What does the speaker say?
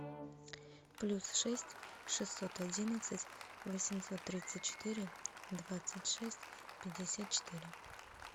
плюс шесть шестьсот одинадцать восемьсот тридцать четыре двадцать шесть пятьдесят четыре